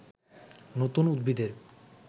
নতুন উদ্ভিদের